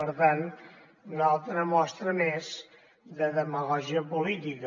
per tant una altra mostra més de demagògia política